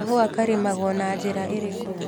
Kahũa karĩmagwo na njĩra ĩrĩkũ